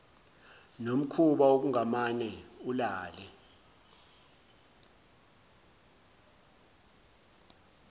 nomkhuba wokungamane ulale